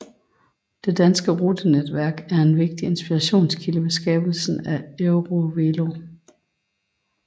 Det danske rutenetværk var en vigtig inspirationskilde ved skabelsen af EuroVelo